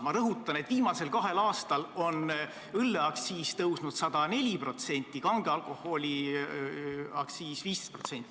Ma rõhutan, et viimasel kahel aastal on õlleaktsiis tõusnud 104%, kange alkoholi aktsiis 15%.